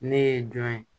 Ne ye jɔn ye